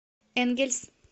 энгельс